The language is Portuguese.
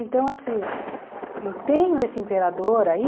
Então, assim, eu tenho esse imperador aí...